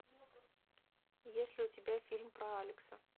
есть ли у тебя фильм про алекса